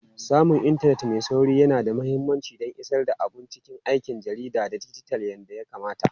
Samun intanet mai sauri yana da mahimmanci don isar da abun cikin aikin jarida na dijital yadda ya kamata.